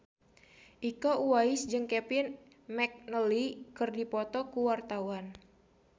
Iko Uwais jeung Kevin McNally keur dipoto ku wartawan